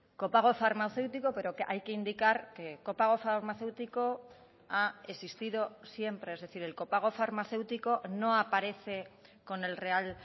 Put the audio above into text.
copago farmacéutico pero que hay que indicar que copago farmacéutico ha existido siempre es decir el copago farmacéutico no aparece con el real